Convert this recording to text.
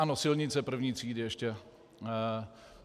Ano, silnice I. třídy ještě.